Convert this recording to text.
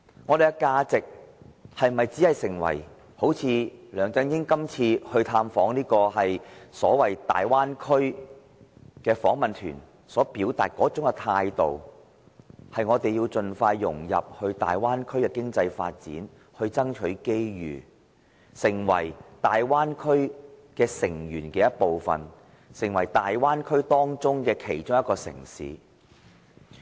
我們是否要採取梁振英這次探訪大灣區的訪問團所表達的態度，便是要盡快融入大灣區的經濟發展，爭取機遇，成為大灣區成員的一部分，成為大灣區其中一個城市呢？